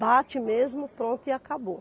Bate mesmo, pronto e acabou.